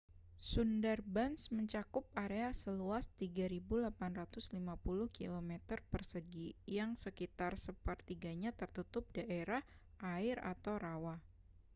sundarbans mencakup area seluas 3.850 kmâ² yang sekitar sepertiganya tertutup daerah air/rawa